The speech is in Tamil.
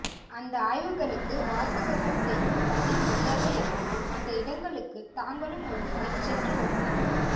அந்த ஆய்வுகளுக்கு வாசகர்கள் செய்யும் பதில் மரியாதை என்பது அந்த இடங்களுக்குத் தாங்களும் ஒருமுறை சென்றுவருவதே